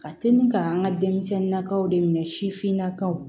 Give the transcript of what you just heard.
Ka teli ka an ka denmisɛnninnakaw de minɛ sifinnakaw